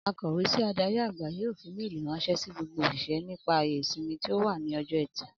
Akò̩wé sí adarí-àgbà yóò fi méèlì ráns̩é̩ sí gbogbo òs̩ìs̩é̩ nípa àyè ìsimi tí ó wà ní o̩jó̩ E̩tì